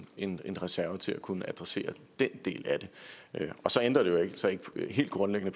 en reserve til at kunne adressere den del af det så ændrer det jo altså helt grundlæggende